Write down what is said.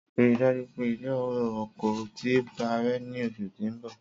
Rii daju pe ilẹ-oko ti parẹ ni oṣu ti n bọ.